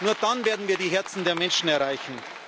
Nur dann werden wir die Herzen der Menschen erreichen.